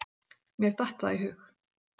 Mér datt það í hug!